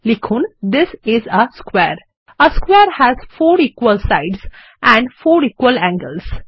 লিখুন this is a স্কোয়ারে A স্কোয়ারে has four equal sides and four equal angles